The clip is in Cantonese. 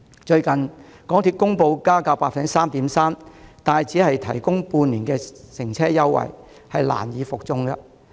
最近，港鐵公布將加價 3.3%， 卻只提供半年乘車優惠，確實難以服眾。